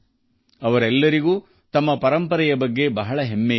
ಇವರೆಲ್ಲರಿಗೂ ತಮ್ಮ ಶ್ರೀಮಂತ ಪರಂಪರೆಯ ಬಗ್ಗೆ ಅಪಾರ ಅಭಿಮಾನವಿದೆ